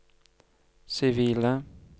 sivile